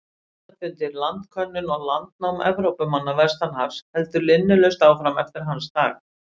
Landafundir, landkönnun og landnám Evrópumanna vestan hafs héldu linnulaust áfram eftir hans dag.